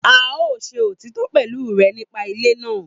A o se òtítọ pẹ̀lú rẹ nípa ilé náà